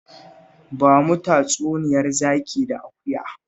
Ba mu tatsuniyar zaki da akuya